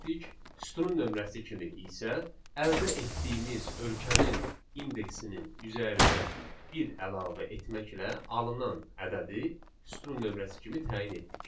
sütunun nömrəsi kimi isə əldə etdiyimiz ölkənin indeksinin üzərinə bir əlavə etməklə alınan ədədi sütun nömrəsi kimi təyin etdik.